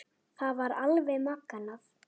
Það var alveg magnað.